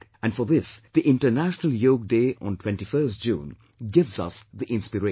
And for this, the International Yog day on 21st June gives us the inspiration